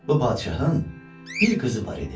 Bu padşahın bir qızı var idi.